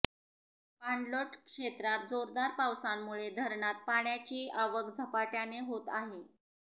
पाणलोट क्षेत्रात जोरदार पावसामुळे धरणात पाण्याची आवक झपाट्याने होत आहे